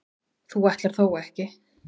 þú ætlar þó ekki.